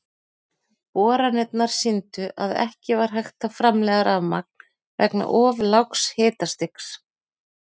Boranirnar sýndu að ekki var hægt að framleiða rafmagn vegna of lágs hitastigs.